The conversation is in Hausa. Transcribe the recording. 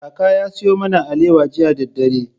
Kaka ya sayo mana alewa jiya da dare.